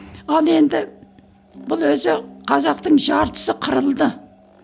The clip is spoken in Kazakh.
ал енді бұл өзі қазақтың жартысы қырылды